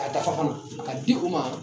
A dagabana a ka di o ma.